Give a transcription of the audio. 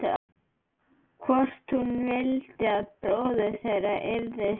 Mig langar að hann haldi áfram að sjúga mig.